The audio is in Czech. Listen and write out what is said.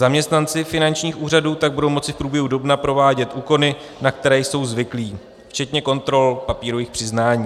Zaměstnanci finančních úřadů tak budou moci v průběhu dubna provádět úkony, na které jsou zvyklí, včetně kontrol papírových přiznání.